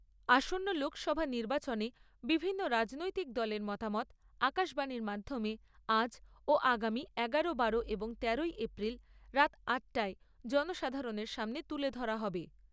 আসন্ন লোকসভা নির্বাচনে বিভিন্ন রাজনৈতিক দলের মতামত আকাশবাণীর মাধ্যমে আজ ও আগামী এগারো, বারো এবং তেরোই এপ্রিল রাত আটটায় জনসাধারণের সামনে তুলে ধরা হবে।